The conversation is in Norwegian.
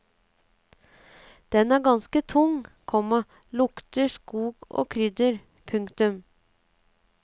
Denne er ganske tung, komma lukter skog og krydder. punktum